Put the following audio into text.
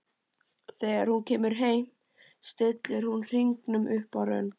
Þegar hún kemur heim stillir hún hringnum upp á rönd.